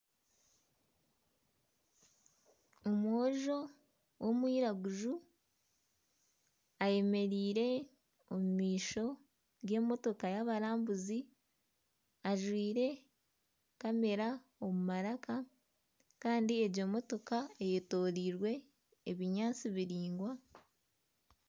Omwojo w'omwiraguju ayemereire omu maisho g'emotooka y'abarambuzi ajwaire kamera omu maraka kandi egyo motooka eyetorirwe ebinyaatsi biraingwa.